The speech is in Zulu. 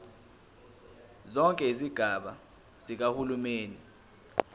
zonke izigaba zikahulumeni